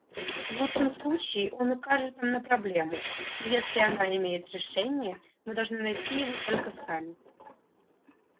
в лучшем случае он укажет нам на проблему но если она имеет решение мы должны найти его только сами